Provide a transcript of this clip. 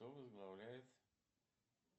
кто возглавляет